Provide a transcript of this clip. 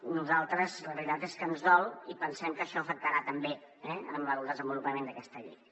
a nosaltres la veritat és que ens dol i pensem que això afectarà també el desenvolupament d’aquesta llei